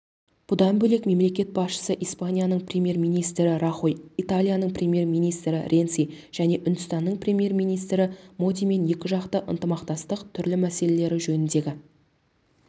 бұдан бөлек мемлекет басшысы испанияның премьер-министрі рахой италияның премьер-министрі ренци және үндістанның премьер-министрі модимен екіжақты ынтымақтастықтың түрлі мәселелері жөніндегі